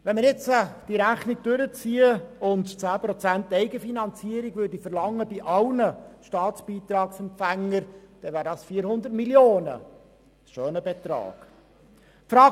Wenn wir die Rechnung zu Ende führen und 10 Prozent Eigenfinanzierung bei allen Staatsbeitragsempfängern verlangen würden, ergäbe dies 400 Mio. Franken, was ein schöner Betrag ist.